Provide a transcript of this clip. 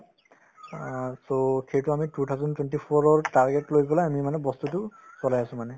অ so সেইটো আমি two thousand twenty four ৰৰ target লৈ পেলাই আমি মানে বস্তুতো কৰাই আছো মানে